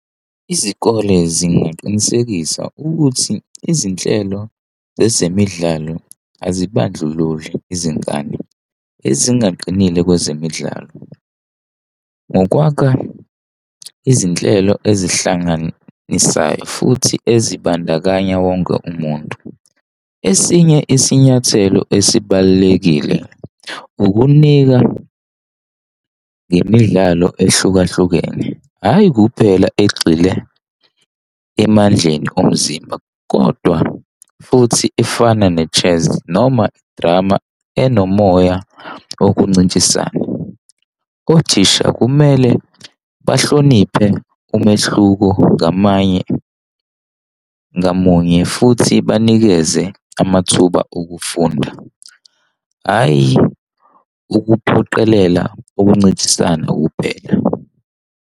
Izikole zingaqinisekisa ukuthi izinhlelo zezemidlalo azibandlululi izingane, ezingaqiile kwezemidlalo, ngokwakha izinhlelo ezihlanganisayo, futhi ezibandakanya wonke umuntu. Esinye isinyathelo esibalulekile ukunika ngemidlalo ehlukahlukene, hhayi, kuphela egxile emandleni omzimba, kodwa futhi efana ne-chess noma i-drama enomoya wokuncintisana. Othisha kumele bahloniphe umehluko ngamanye, ngamunye futhi banikeze amathuba okufunda, hhayi ukuphoqelela ukuncintisana kuphela.